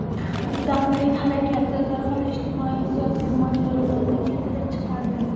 Mustaqillik harakati darhol ijtimoiy-siyosiy mojarolarni keltirib chiqardi.